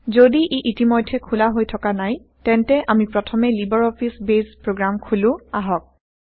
যদি ই ইতিমধ্যে খোলা হৈ থকা নাই তেন্তে আমি প্ৰথমে লিবাৰ অফিচ বেইছ প্ৰোগ্ৰাম খোলো আহক